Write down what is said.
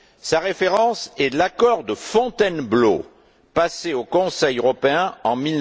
Sa référence est l'accord de Fontainebleau, passé au Conseil européen en